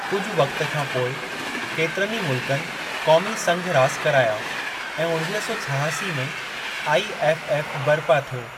कुझु वक़्त खां पोइ, केतिरनि ई मुल्क़नि क़ौमी संघ रासि कराया ऐं उणिवीह सौ छहासी में आईएफएफ बरिपा थियो।